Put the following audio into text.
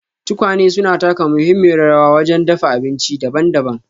Tukwane suna taka muhimmiyar rawa wajen dafa abinci daban-daban.